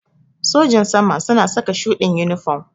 Sojin sama suna saka shuɗin inifam